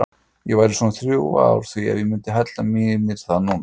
Ég væri svona þrjú ár að því ef ég myndi hella mér í það núna.